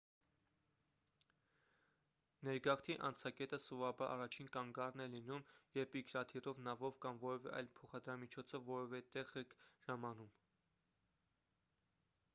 ներգաղթի անցակետը սովորաբար առաջին կանգառն է լինում երբ ինքնաթիռով նավով կամ որևէ այլ փոխադրամիջոցով որևէ տեղ եք ժամանում